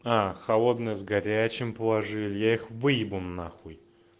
а холодное с горячим положили их выебу нахуй